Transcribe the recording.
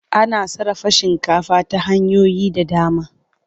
Ana sarrafa shinkafi ta hanyoyi da dama.